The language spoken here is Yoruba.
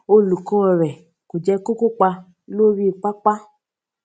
olùkó rè ko je ko kopa lori papa